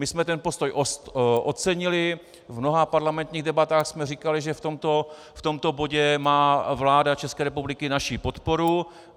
My jsme ten postoj ocenili, v mnoha parlamentních debatách jsme říkali, že v tomto bodě má vláda České republiky naši podporu.